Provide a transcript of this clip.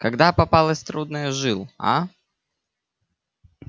когда попалась трудная жил а